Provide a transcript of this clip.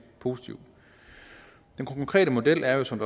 positivt den konkrete model er jo som